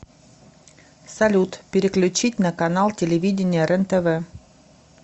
салют переключить на канал телевидения рентв